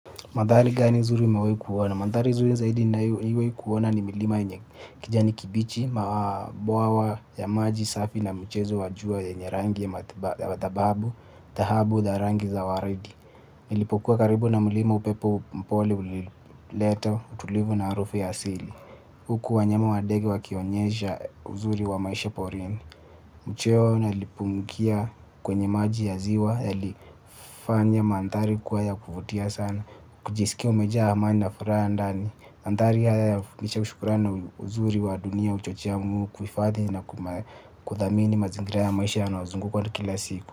Madhali gani zuri mewahikuona? Madhali zuri zaidi ninayo iwahikuona ni milima kijani kibichi, mabwawa ya maji safi na mchezo wa jua yenye rangi ya matababu, tahabu, darangi za waridi. Nilipokuwa karibu na milima upepo mpoli ulileto, utulivu na arufu ya asili. Huku wanyama wadege wakionyesha uzuri wa maisha porini. Mcheo nalipungkia kwenye maji ya ziwa. Yalifanya manthari kua ya kufutia sana. Kujisikia umejaa hamani na furaha ndani. Antari haya ya fungisha shukurani uzuri wa dunia hchochea muu. Kufadhi na kuthamini mazingira ya maisha ya naozungukwa tu kila siku.